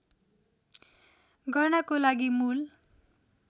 गर्नको लागि मूल